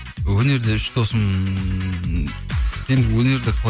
өнерде үш досым енді өнерде